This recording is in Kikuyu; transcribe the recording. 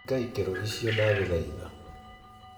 Hinga ikero ĩcio ndaguthaitha